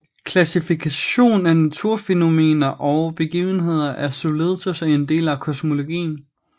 Klassifikation af naturfænomener og begivenheder er således også en del af kosmologien